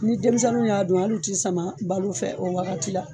Ni denmisɛnninw y'a dun hali u ti sama balo nɔfɛ o wagati la.